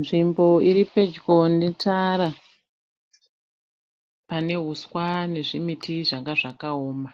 Nzvimbo iri pedyo netara, pane huswa nezvimiti zvanga zvakaoma.